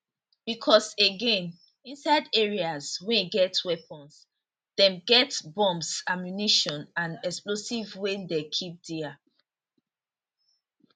becos again inside areas wey get weapons dem get bombs ammunition and explosives wey dem keep dia